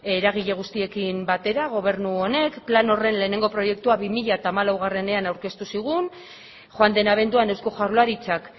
eragile guztiekin batera gobernu honek plan horren lehenengo proiektua bi mila hamalauean aurkeztu zigun joan den abenduan eusko jaurlaritzak